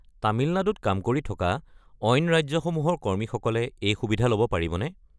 তামিলনাডুত কাম কৰি থকা অইন ৰাজ্যসমূহৰ কৰ্মীসকলে এই সুবিধা ল'ব পাৰিবনে?